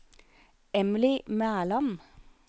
Emilie Mæland